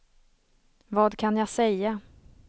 vad kan jag säga